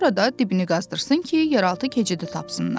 Sonra da dibini qazdırsın ki, yeraltı keçidi tapsınlar.